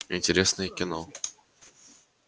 интересное кино